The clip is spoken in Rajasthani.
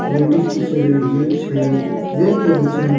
लेडिस टीचर है जेन्स है देख रहे बच्चा नु --